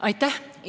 Aitäh!